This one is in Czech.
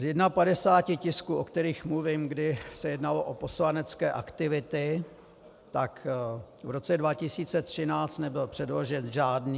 Z 51 tisků, o kterých mluvím, kdy se jednalo o poslanecké aktivity, tak v roce 2013 nebyl předložen žádný.